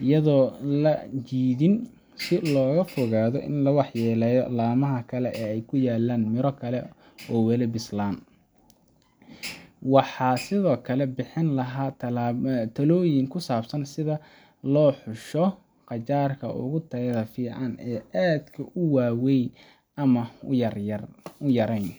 iyadoo aan la jiidin si looga fogaado in la waxyeelleeyo laamaha kale ee ay ku yaallaan miro kale oo weli bislaanaya. Waxaan sidoo kale bixin lahaa talooyin ku saabsan sida loo xusho qajaarka ugu tayada fiican, oo aan aad u weynayn ama aad u yarayn.